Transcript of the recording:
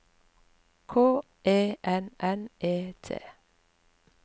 K E N N E T